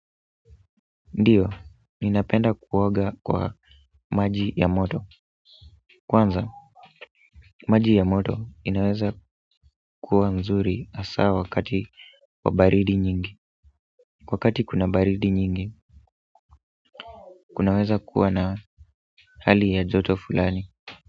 Ndiyo, ninapenda kuoga kwa maji ya moto kwanza, maji ya moto inaweza kuwa mzuri hasaa wakati wa baridi nyingi wakati kuna baridi nyingi, kunaweza kuwa na hali ya joto fulani.